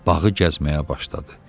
Bağı gəzməyə başladı.